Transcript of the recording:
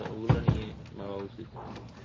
ওইগুলো নিয়ে ভাবা উচিত